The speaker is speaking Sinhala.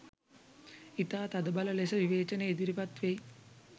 ඉතා තදබල ලෙස විවේචන ඉදිරිපත් වෙයි